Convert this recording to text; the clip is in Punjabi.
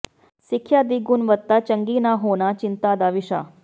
ਸਿੱਖਿਆ ਦੀ ਗੁਣਵੱਤਾ ਚੰਗੀ ਨਾ ਹੋਣਾ ਚਿੰਤਾ ਦਾ ਵਿਸ਼ਾ